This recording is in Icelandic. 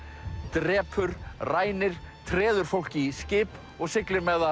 drepur rænir treður fólki í skip og siglir með það